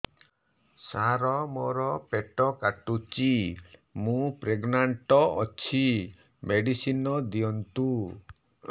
ସାର ମୋର ପେଟ କାଟୁଚି ମୁ ପ୍ରେଗନାଂଟ ଅଛି ମେଡିସିନ ଦିଅନ୍ତୁ